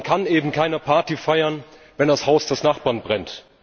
Man kann eben keine Party feiern, wenn das Haus des Nachbarn brennt.